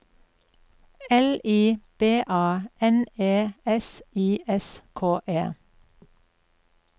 L I B A N E S I S K E